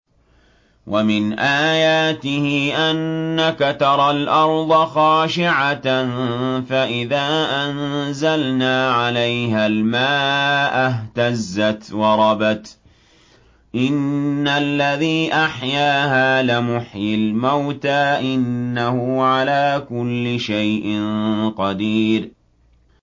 وَمِنْ آيَاتِهِ أَنَّكَ تَرَى الْأَرْضَ خَاشِعَةً فَإِذَا أَنزَلْنَا عَلَيْهَا الْمَاءَ اهْتَزَّتْ وَرَبَتْ ۚ إِنَّ الَّذِي أَحْيَاهَا لَمُحْيِي الْمَوْتَىٰ ۚ إِنَّهُ عَلَىٰ كُلِّ شَيْءٍ قَدِيرٌ